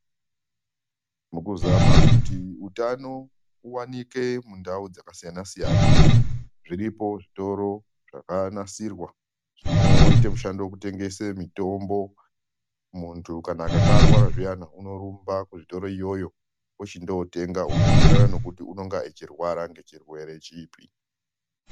Mukuzama kuti utano uvanike mundau dzakasiyana-siyana. Zviripo zvitoro zvakanasirwa zvinoite mishando yekutengese mitombo. Muntu akanga arwara zviyani unorumba kuzvitoro iyoyo, ochondotenga unoenderana nekuti unonga achirwara ngechirwere chipi.